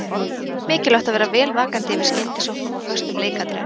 Það er mjög mikilvægt að vera vel vakandi yfir skyndisóknum og föstum leikatriðum.